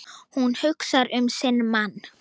Hún hugsar um sinn mann.